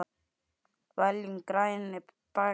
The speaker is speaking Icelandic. Veljum grænni bækur.